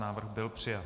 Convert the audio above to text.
Návrh byl přijat.